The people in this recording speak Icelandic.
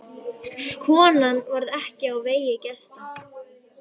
Konan varð ekki á vegi gesta.